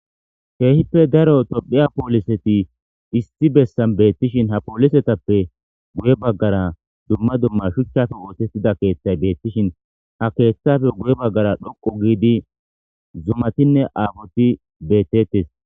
Keehippe daro tophphiya pooliseti issi bessan beettishin ha poolisetappe guye baggara dumma dumma shuchchafo oosettida keeththay beettishin ha keeththafe guye baggara dhoqu giidi zumatinne aafoti beettettes